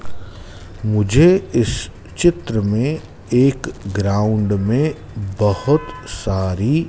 मुझे इस चित्र में एक ग्राउंड में बहुत सारी--